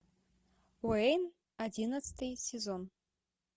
уэйн одиннадцатый сезон